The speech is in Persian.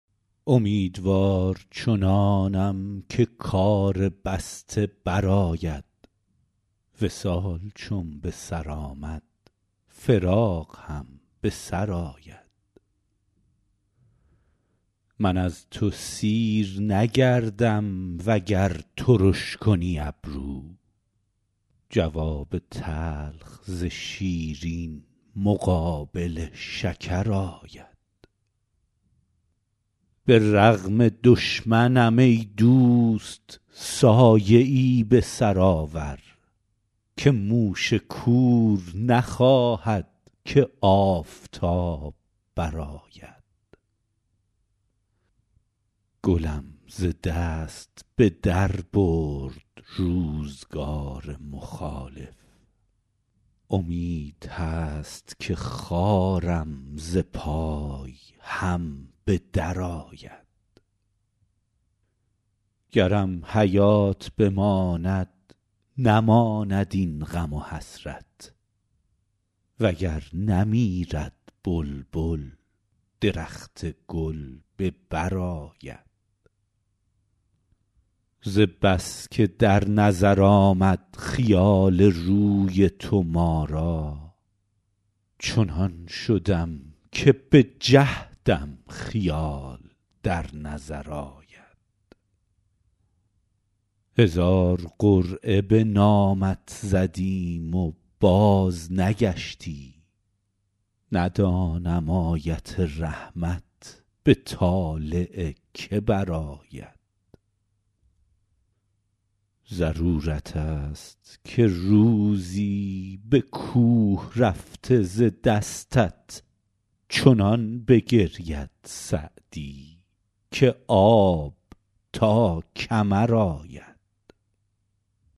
امیدوار چنانم که کار بسته برآید وصال چون به سر آمد فراق هم به سر آید من از تو سیر نگردم وگر ترش کنی ابرو جواب تلخ ز شیرین مقابل شکر آید به رغم دشمنم ای دوست سایه ای به سر آور که موش کور نخواهد که آفتاب برآید گلم ز دست به در برد روزگار مخالف امید هست که خارم ز پای هم به درآید گرم حیات بماند نماند این غم و حسرت و گر نمیرد بلبل درخت گل به بر آید ز بس که در نظر آمد خیال روی تو ما را چنان شدم که به جهدم خیال در نظر آید هزار قرعه به نامت زدیم و بازنگشتی ندانم آیت رحمت به طالع که برآید ضرورت ست که روزی به کوه رفته ز دستت چنان بگرید سعدی که آب تا کمر آید